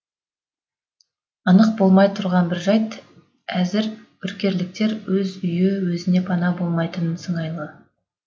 анық болмай тұрған бір жайт әзір үркерліктер өз үйі өзіне пана болмайтын сыңайлы